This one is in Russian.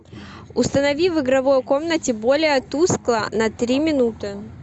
установи в игровой комнате более тускло на три минуты